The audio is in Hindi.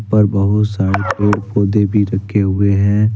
ऊपर बहुत सारे पेड़ पौधे भी रखे हुए हैं।